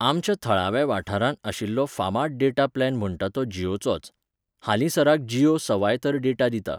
आमच्या थळाव्या वाठारांत आशिल्लो फामाद डेटा प्लॅन म्हणटा तो जियोचोच. हालिंसराक जियो सवाय तर डेटा दिता.